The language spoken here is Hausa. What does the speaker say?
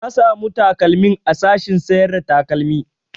Na samu takalmin a sashen sayar da takalmi